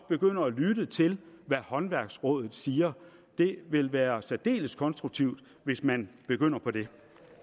begynder at lytte til hvad håndværksrådet siger det vil være særdeles konstruktivt hvis man begynder på det